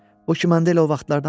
O ki, mən deyim, o vaxtlardandır.